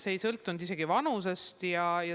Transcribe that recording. See ei sõltunud isegi vanusest.